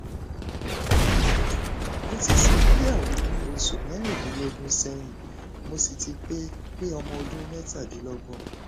mo ti ṣègbéyàwó ní oṣù mẹrin dín lógún sẹyìn mo sì ti pé pé ọmọ ọdún mẹtàdínlọgbọn